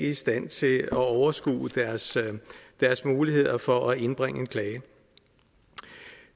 i stand til at overskue deres muligheder for at indbringe en klage